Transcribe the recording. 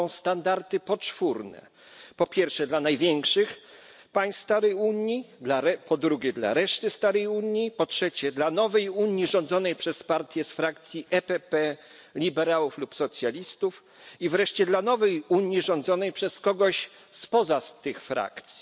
Są standardy poczwórne po pierwsze, dla największych państw starej Unii, po drugie, dla reszty starej Unii, po trzecie, dla nowej Unii rządzonej przez partie z frakcji PPE, liberałów lub socjalistów i wreszcie dla nowej Unii rządzonej przez kogoś spoza tych frakcji..